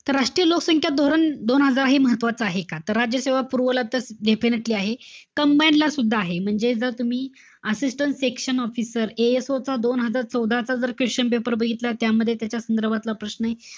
तर राष्ट्रीय लोकसंख्या धोरण दोन हजार हे महत्वाचं आहे का? तर राज्यसेवा पुरवला तर definitely आहे. Combine ला सुद्धा आहे. म्हणजे, जर तुम्ही assistant section officer ASO चा दोन हजार चौदाचा जर question paper बघितला. त्यामध्ये त्याच्या संदर्भातला प्रश्नय.